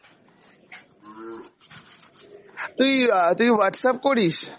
তুই আ তুই Whatsapp করিস?